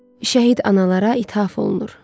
Şəhid analara ithaf olunur.